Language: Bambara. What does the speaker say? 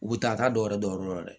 U bɛ taa taa dɔw yɛrɛ dɔn yɔrɔ dɛ